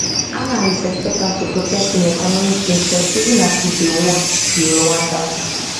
analysts expect am to protect im economic interests even as e dey watch di rwandans